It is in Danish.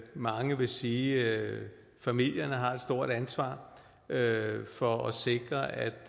mange vil sige at familierne har et stort ansvar for at sikre at